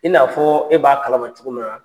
I n'a fɔ e b'a kalama cogo min na.